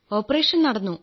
operation നടന്നു